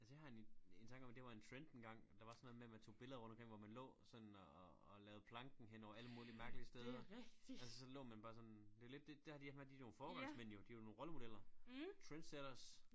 Altså jeg har en en tanke om at det var en trend engang der var sådan noget med man tog billeder rundt omkring hvor man lå sådan og og og lavede planken hen over alle mulige mærkelige steder altså så lå man bare sådan det lidt det det det har de endt med de nogle foregangsmænd jo de jo nogle rollemodeller trendsetters